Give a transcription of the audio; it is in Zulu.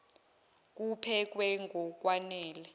kuphekwe ngok wanele